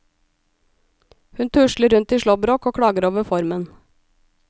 Hun tusler rundt i slåbrok og klager over formen.